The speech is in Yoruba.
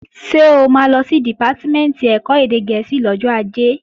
Ṣé o máa lọ sí Dìpátímẹ̀ntì ẹ̀kọ́ èdè gẹ̀ẹ́sì lọ́jọ́ Ajé?